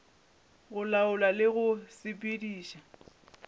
go laola le go sepediša